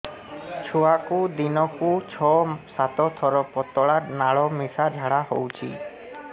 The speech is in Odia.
ଛୁଆକୁ ଦିନକୁ ଛଅ ସାତ ଥର ପତଳା ନାଳ ମିଶା ଝାଡ଼ା ହଉଚି